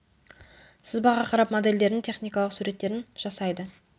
сызбаға қарап модельдердің техникалық суреттерін жасайды